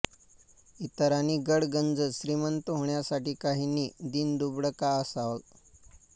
इतरांनी गडगंज श्रीमंत होण्यासाठी काहींनी दीनदुबळं का असावं